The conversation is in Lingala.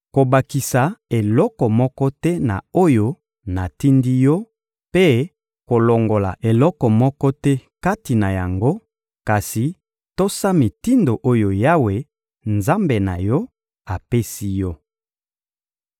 Kobakisa eloko moko te na oyo natindi yo mpe kolongola eloko moko te kati na yango, kasi tosa mitindo oyo Yawe, Nzambe na yo, apesi yo.